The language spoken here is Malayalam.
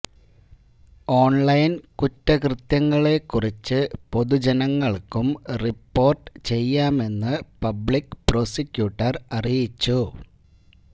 ഓണ്ലൈന് കുറ്റകൃത്യങ്ങളെ കുറിച്ച് പൊതുജനങ്ങള്ക്കും റിപ്പോര്ട്ട് ചെയ്യാമെന്ന് പബ്ലിക് പ്രോസിക്യൂട്ടര് അറിയിച്ചു